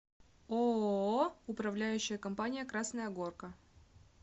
ооо управляющая компания красная горка